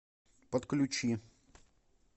подключи